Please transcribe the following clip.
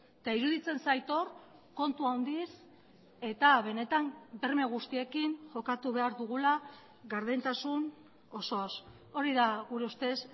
eta iruditzen zait hor kontu handiz eta benetan berme guztiekin jokatu behar dugula gardentasun osoz hori da gure ustez